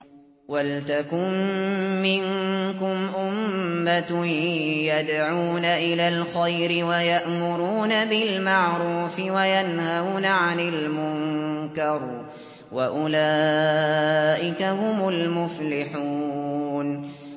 وَلْتَكُن مِّنكُمْ أُمَّةٌ يَدْعُونَ إِلَى الْخَيْرِ وَيَأْمُرُونَ بِالْمَعْرُوفِ وَيَنْهَوْنَ عَنِ الْمُنكَرِ ۚ وَأُولَٰئِكَ هُمُ الْمُفْلِحُونَ